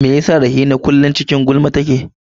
Me yasa Rahina kullum cikin gulma take?